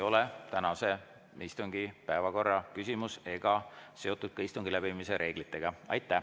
See ei ole tänase istungi päevakorra küsimus ega ole seotud ka istungi läbiviimise reeglitega.